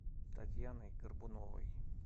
татьяной горбуновой